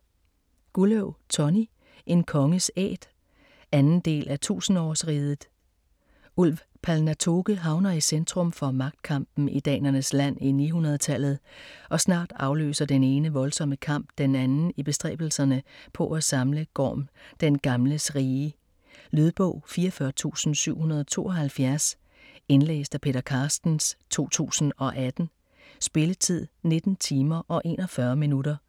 Gulløv, Tonny: En konges æt 2. del af 1000-årsriget. Ulv Palnatoke havner i centrum for magtkampen i danernes land i 900-tallet, og snart afløser det ene voldsomme kamp den anden i bestræbelserne på at samle Gorm den Gamles rige. Lydbog 44772 Indlæst af Peter Carstens, 2018. Spilletid: 19 timer, 41 minutter.